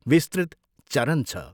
विस्तृत चरन छ।